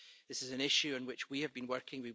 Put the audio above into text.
This is an issue on which we have been working.